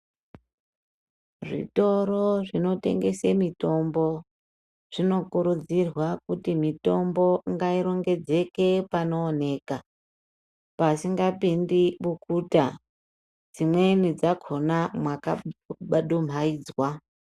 Zvitoro zvinotengese mitombo zvino kurudzirwa kuti mitombo ngairo ngedzeke panooneka pasingapindi bukuta, dzimweni dzakhona mwaka dumhaidzwa.